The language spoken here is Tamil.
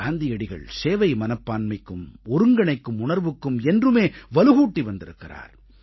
காந்தியடிகள் சேவை மனப்பான்மைக்கும் ஒருங்கிணைக்கும் உணர்வுக்கும் என்றுமே வலுகூட்டி வந்திருக்கிறார்